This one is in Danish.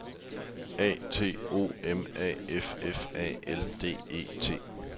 A T O M A F F A L D E T